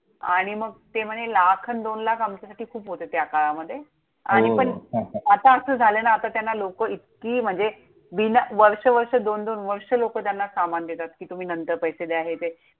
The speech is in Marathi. आणि मग, ते म्हणे लाख अन् दोन लाख आमच्यासाठी खूप होते त्या काळामध्ये. हो हो! आणि पण आता असं झालंय ना, आता त्यांना लोकं इतकी म्हणजे, बिना वर्ष वर्ष दोन दोन वर्ष लोकं त्यांना सामान देतात, कि तुम्ही नंतर पैसे द्या, हे द्या.